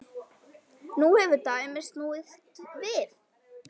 Nú hefur dæmið snúist við.